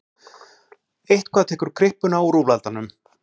Eitthvað tekur kryppuna úr úlfaldanum